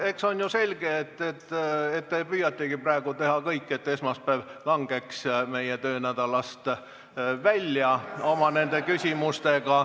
Eks ole ju selge, et praegu te püüategi oma küsimustega teha kõik, et esmaspäev langeks meie töönädalast välja.